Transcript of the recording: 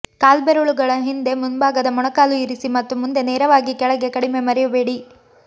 ಕಾಲ್ಬೆರಳುಗಳ ಹಿಂದೆ ಮುಂಭಾಗದ ಮೊಣಕಾಲು ಇರಿಸಿ ಮತ್ತು ಮುಂದೆ ನೇರವಾಗಿ ಕೆಳಗೆ ಕಡಿಮೆ ಮರೆಯಬೇಡಿ